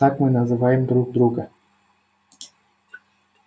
так мы называем друг друга